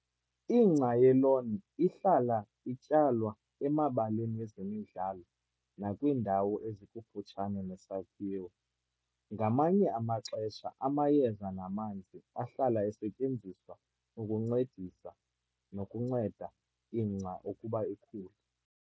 Lawn grass is often planted on sports fields and in the area around a building. Sometimes chemicals and water is used to help lawns to grow.